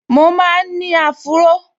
Mo máa n ní áfúró